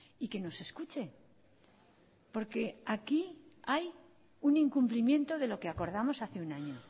y que nos escuche porque aquí hay un incumplimiento de lo que acordamos hace un año